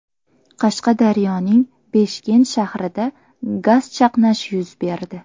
Qashqadaryoning Beshkent shahrida gaz chaqnashi yuz berdi.